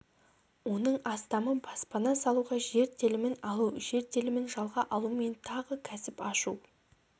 оның астамы баспана салуға жер телімін алу жер телімін жалға алу мен тағы кәсіп ашу